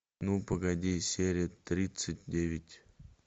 ну погоди серия тридцать девять